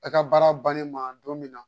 A ka baara bannen ma don min na